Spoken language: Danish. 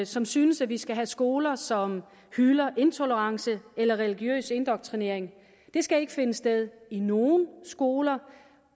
som synes at vi skal have skoler som hylder intolerance eller religiøs indoktrinering det skal ikke finde sted i nogen skoler